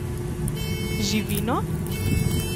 Živino?